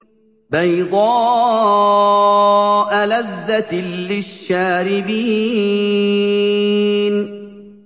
بَيْضَاءَ لَذَّةٍ لِّلشَّارِبِينَ